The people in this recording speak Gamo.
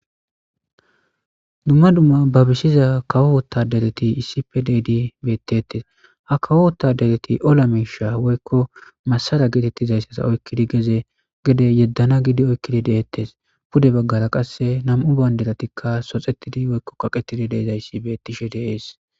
dumma dumma babisiza kawoo tadeleti iisipe deedi beettettes ha kawoo tadeleti ola miisha woykko masara geetettizayssasa oykkidi geze gede yeddana gidi oykkidi deettes pude baggara qasse nam7u bayndelatikka soxetidi woykko kaqetidi deezayssi bettishe de'ees